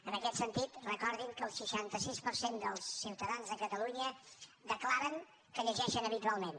en aquest sentit recordin que el seixanta sis per cent dels ciutadans de catalunya declaren que llegeixen habitualment